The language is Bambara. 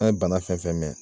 An ye bana fɛn fɛn mɛn.